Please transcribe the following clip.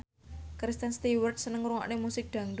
Kristen Stewart seneng ngrungokne musik dangdut